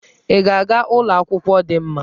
Ị ga-aga ụlọ akwụkwọ dị mma?